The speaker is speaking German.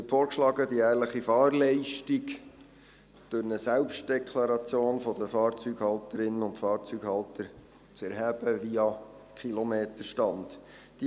Es wird vorgeschlagen, die jährliche Fahrleistung durch eine Selbstdeklaration der Fahrzeughalterinnen und Fahrzeughalter via Kilometerstand zu erheben.